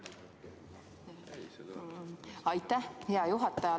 Aitäh, hea juhataja!